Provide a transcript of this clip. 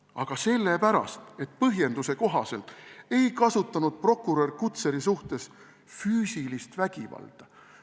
Aga sellepärast, et põhjenduse kohaselt ei kasutanud prokurör Kutseri suhtes füüsilist vägivalda.